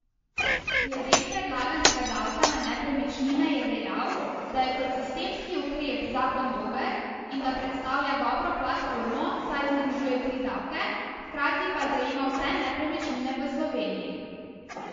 Glede predlaganega davka na nepremičnine je dejal, da je kot sistemski ukrep zakon dober in da predstavlja dobro platformo, saj združuje tri davke, hkrati pa zajema vse nepremičnine v Sloveniji.